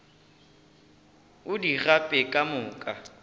o di gape ka moka